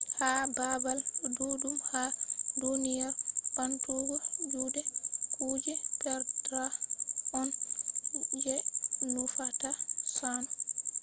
ha babal duddum ha duniyaru bantugo jude kuje perda on je nufata sannu.